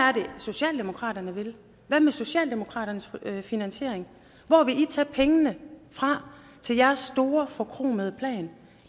er det socialdemokratiet vil hvad med socialdemokratiets finansiering hvor vil i tage pengene fra til jeres store forkromede plan